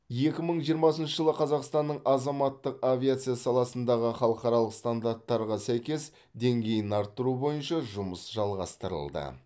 екі мың жиырмасыншы жылы қазақстанның азаматтық авиация саласындағы халықаралық стандарттарға сәйкестік деңгейін арттыру бойынша жұмыс жалғастырылды